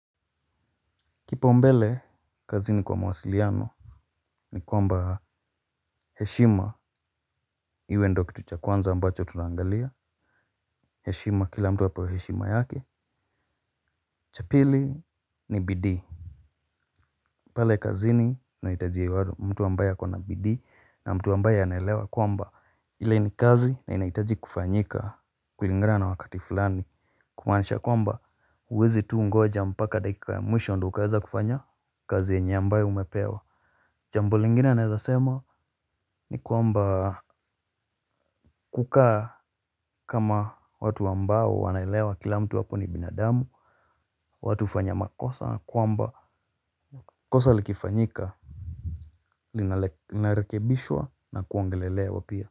Kipaumbele kazini kwa mawasiliano ni kwamba heshima iwe ndo kitu cha kwanza ambacho tunaangalia, heshima kila mtu apewe heshima yake, cha pili ni bidii. Pale kazini nahitaji mtu ambaye akona bidii na mtu ambaye anaelewa kwamba ile ni kazi na inahitaji kufanyika kulingana na wakati fulani. Kumaanisha kwamba, huwezi tu ngoja mpaka dakika ya mwisho ndo ukaweza kufanya kazi yenye ambaye umepewa. Jambo lingine naezasema, ni kwamba, kukaa kama watu ambao wanaelewa kila mtu hapo ni binadamu. Watu hufanya makosa kwamba kosa likifanyika linarekebishwa na kuongelelewa pia.